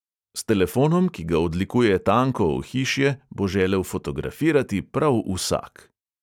S telefonom, ki ga odlikuje tanko ohišje, bo želel fotografirati prav vsak.